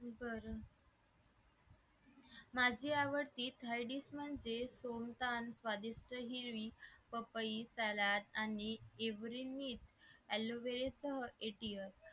बरं माझे आवडते स्थायिक म्हणजे सुनतान स्वादिष्ट ही हिरवी पपई सलाड आणि every need aloevera सह anti air